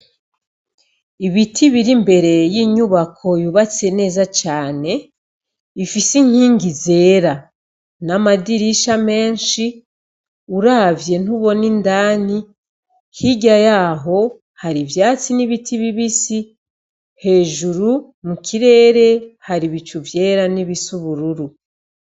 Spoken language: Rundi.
Ibiti biri imbere y’inyubako yubatse neza cane ifise inkingi zera, namadirisha menshi ,uravye ntubona indani hirya yaho hari ivyatsi nibiti bibisi ,hejuru mu kirere hari ibicu vyera n’ibisa ubururu